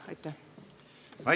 Aitäh!